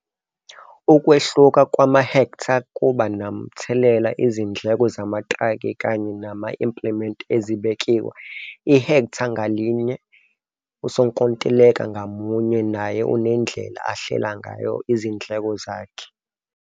Ukwehluka kwamahektha kuba nomthelela izindleko zamatraki kanye nama-implements ezibekiwe ihektha ngalinye. Usonkontileka ngamunye naye unendlela ahlela ngayo izindleko zakhe.